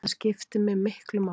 Það skipti mig miklu máli